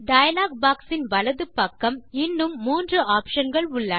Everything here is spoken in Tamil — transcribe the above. டயலாக் boxயின் வலது பக்கம் இன்னும் மூன்று ஆப்ஷன் கள் உண்டு